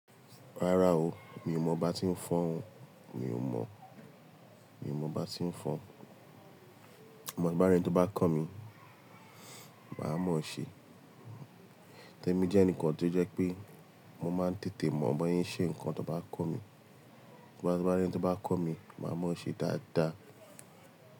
Rárá o, mi ò mọ bá tí n fọn. Mi ò mọ, mi ò mọ bá tí n fọn. Amo bi n bá rí ẹni tó bá kọ́ mi, màá mọ ṣé. Torí mọ jẹ́ eǹikan tó jẹ́ pé mo máa ń tètè mọ bọ ṣẹ ṣe ǹkan tó bá kọ́ mi. Ti bá rí ẹni tó bá kọ́ mi, màá mọ ṣé dáadáa.